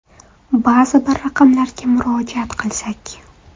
Ba’zi bir raqamlarga murojaat qilsak.